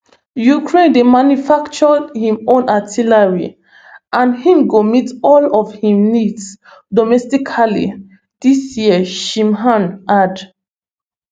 ukraine dey also manufacture im own artillery and im go meet all of im needs domestically dis year shmyhal add